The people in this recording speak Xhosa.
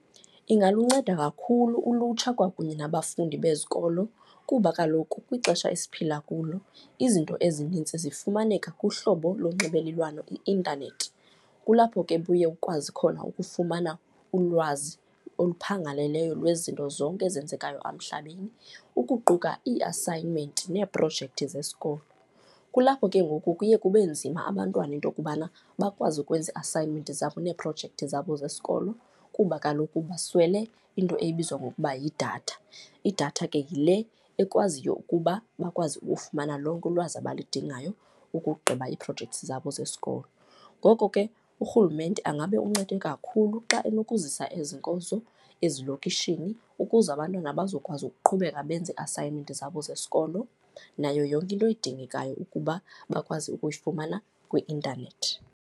Ingalunceda kakhulu ulutsha kwakunye nabafundi bezikolo kuba kaloku kwixesha esiphila kulo, izinto ezinintsi zifumaneka kuhlobo lonxibelelwano i-intanethi. Kulapho ke uye ukwazi khona ukufumana ulwazi oluphangaleleyo lwezinto zonke ezenzekayo emhlabeni, ukuquka ii-assignment neeprojekthi zesikolo. Kulapho ke ngoku kuye kube nzima abantwana into yokubana bakwazi ukwenza ii-assignment zabo neeprojekthi zabo zesikolo kuba kaloku baswele into ebizwa ngokuba yidatha, idatha ke yile ekwaziyo ukuba bakwazi ukufumana lonke ulwazi abalidingayo ukugqiba iiprojekthi zabo zesikolo. Ngoko ke urhulumente angabe uncede kakhulu xa enokuzisa ezi nkonzo ezilokishini, ukuze abantwana bazokwazi ukuqhubeka benze ii-assignment zabo zesikolo nayo yonke into edingekayo ukuba bakwazi ukuyifumana kwi-intanethi.